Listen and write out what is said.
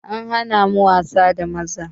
An hana mu wasa da maza